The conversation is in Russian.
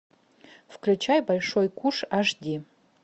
включай большой куш аш ди